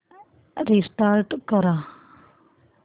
restart कर